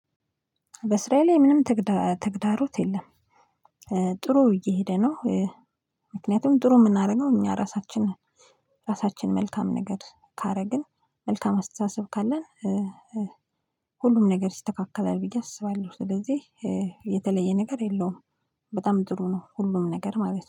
በስራየ ላይ ምንም ትግዳሮት የለም። ጥሩ እየሄደ ነው። ምክናየቱም ጥሩ የምናረገው እኛ እራሳችን ነን። ራሳችን መልካም ነገድ ካረግን መልካም አስተሳሰብ ካለን። ሁሉም ነገር ይስተካከላል ብዬ አስባለሁ። ስለዚህ የተለየ ነገር የለውም። በጣም ጥሩ ነው ሁሉም ነገር ማለት ነው